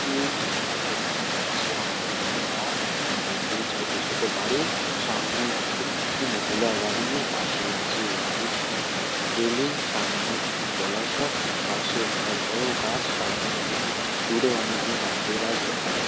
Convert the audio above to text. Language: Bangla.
এই ছবিটিতে দেখা যাচ্ছে অনেকগুলি গাছ। অনেকগুলি ছোট ছোট বাড়ি। সামনে একটি-ই- মহিলা দাঁড়িয়ে। পাশে আছে একটি স- রেলিং । সামনে একটি জলাশয় পাশে একটা বড় গাছ সামনে অনেক গ- দূরে অনেকগুলি নারকেল গাছ দেখা যাচ--